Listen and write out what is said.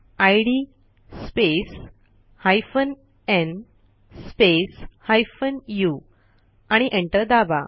इद space hyphen न् space उ आणि एंटर दाबा